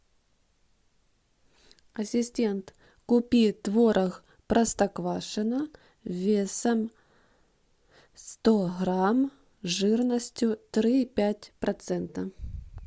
ассистент купи творог простоквашино весом сто грамм жирностью три и пять процента